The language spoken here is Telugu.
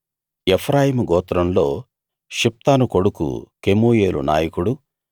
ఎఫ్రాయిము గోత్రంలో షిప్తాను కొడుకు కెమూయేలు నాయకుడు